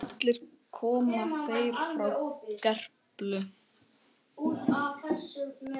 Allir koma þeir frá Gerplu.